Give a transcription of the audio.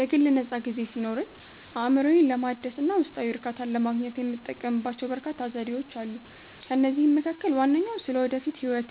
የግል ነፃ ጊዜ ሲኖረኝ፣ አእምሮዬን ለማደስ እና ውስጣዊ እርካታን ለማግኘት የምጠቀምባቸው በርካታ ዘዴዎች አሉ። ከእነዚህም መካከል ዋነኛው ስለ ወደፊት ህይወቴ